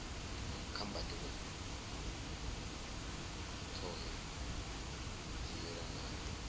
kha mbadelo tshohe dzi yelanaho